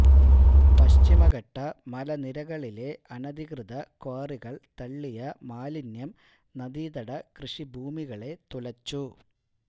പശ്ചിമഘട്ട മലനിരകളിലെ അനധികൃത ക്വാറികള് തള്ളിയ മാലിന്യം നദീതട കൃഷിഭൂമികളെ തുലച്ചു